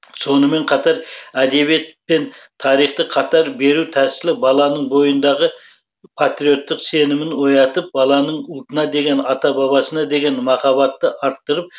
сонымен қатар әдебиет пен тарихты қатар беру тәсілі баланың бойындағы патриоттық сенімін оятып баланың ұлтына деген ата бабасына деген махаббатты арттырып